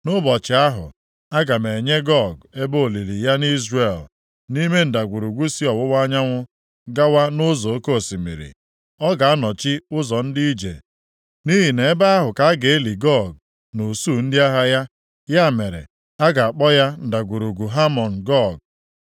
“ ‘Nʼụbọchị ahụ, aga m enye Gog ebe olili ya nʼIzrel, nʼime ndagwurugwu si ọwụwa anyanwụ gawa nʼụzọ oke osimiri. Ọ ga-anọchi ụzọ ndị ije nʼihi na ebe ahụ ka a ga-eli Gog na usuu ndị agha ya. Ya mere, a ga-akpọ ya Ndagwurugwu Hamọn Gog.